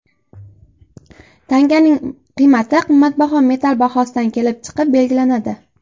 Tanganing qiymati qimmatbaho metall bahosidan kelib chiqib belgilanadi.